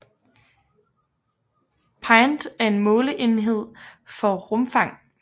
Pint er en måleenhed for rumfang